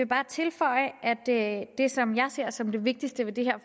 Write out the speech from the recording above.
bare tilføje at det at det som jeg ser som det vigtigste i det